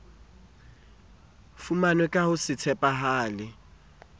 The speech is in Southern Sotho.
fumanwe ka ho se tshepahale